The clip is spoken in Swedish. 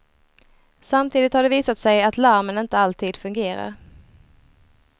Samtidigt har det visat sig att larmen inte alltid fungerar.